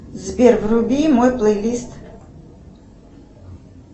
сбер вруби мой плейлист